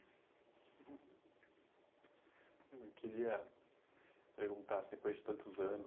Eu queria perguntar, depois de tantos anos,